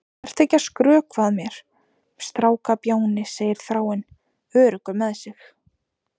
Vertu ekki að skrökva að mér, strákbjáni, segir Þráinn, öruggur með sig.